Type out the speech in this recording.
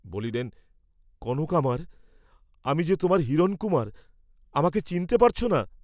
বলিলেন, কনক আমার, আমি যে তোমার হিরণকুমার, আমাকে চিনতে পারছ না?